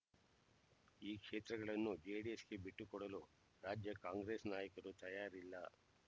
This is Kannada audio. ಈ ಕ್ಷೇತ್ರಗಳನ್ನು ಜೆಡಿಎಸ್‌ಗೆ ಬಿಟ್ಟು ಕೊಡಲು ರಾಜ್ಯ ಕಾಂಗ್ರೆಸ್ ನಾಯಕರು ತಯಾರಿಲ್ಲ